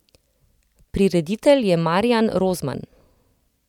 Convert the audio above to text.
Prireditelj je Marijan Rozman.